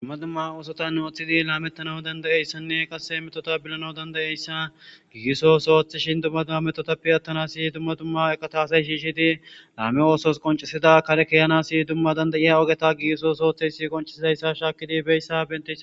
dumma dumma oosota nuothidi laamettanaw dandayeyssanne qasse metota bilana dandayeyssa gigisos ooththishin dumma dumma metotappe attanasi dumma dumma eka taasay shiishidi laame oosos qoncisida karekeyanasi dumma dandayiya ogeta gigisos ooththey si qoncisidayssa shaakidi beyssa bente